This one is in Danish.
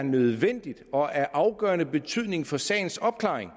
er nødvendigt og er af afgørende betydning for sagens opklaring